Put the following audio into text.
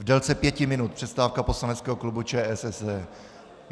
V délce pěti minut přestávka poslaneckého klubu ČSSD.